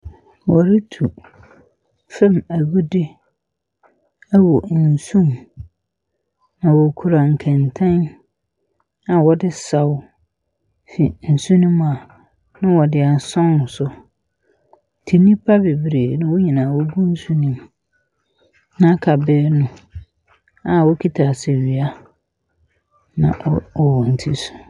Wɔretu fam agudeɛ wɔ nsuo mu. Na wɔkura nkɛntɛn a wɔde saw fi nsu no mua, na wɔde asɔn so. Nti nnipa bebree na wɔn nyinaa wogu nsu no mu. Na aka benyin no a okita asawia na ɔ wɔ wɔn tiri so.